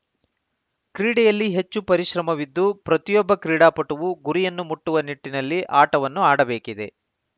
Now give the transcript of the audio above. ಕ್ರೀಡೆಯಲ್ಲಿ ಹೆಚ್ಚು ಪರಿಶ್ರಮವಿದ್ದು ಪ್ರತಿಯೊಬ್ಬ ಕ್ರೀಡಾಪಟುವೂ ಗುರಿಯನ್ನು ಮುಟ್ಟುವ ನಿಟ್ಟಿನಲ್ಲಿ ಆಟವನ್ನು ಆಡಬೇಕಿದೆ